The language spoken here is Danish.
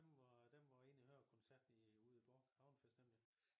Dem var dem var inde og høre koncerten i ude i Bork havnefest nemlig